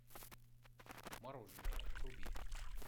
мороженое вруби